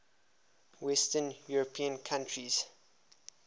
western european countries